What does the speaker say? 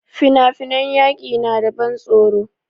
Fina-finan yaƙi na da ban tsoro.